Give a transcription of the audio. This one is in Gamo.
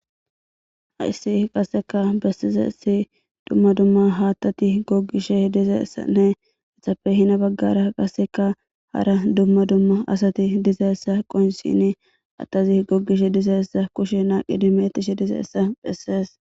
haissi qasseka bessizesi dumma dumma haattati goggishe dizeessanne ehappe hina baggara qasseka hara dumma dumma asati dizeessa qoyinsini attazi gogishe dizeessa kushe naaqi dimettishe dize essa phessees